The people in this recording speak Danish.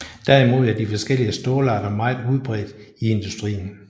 Derimod er de forskellige stålarter meget udbredt i industrien